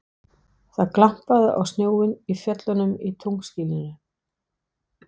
Það glampaði á snjóinn í fjöllunum í tunglskininu.